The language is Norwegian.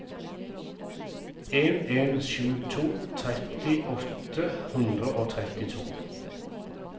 en en sju to tretti åtte hundre og trettito